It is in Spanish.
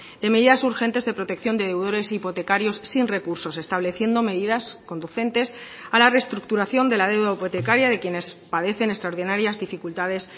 de medidas urgentes de protección de deudores hipotecarios sin recursos estableciendo medidas conducentes a la restructuración de la deuda hipotecaria de quienes padecen extraordinarias dificultades